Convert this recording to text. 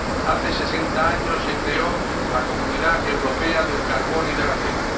Hace sesenta años se creó la Comunidad Europea del Carbón y del Acero.